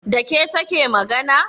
Da ke take magana?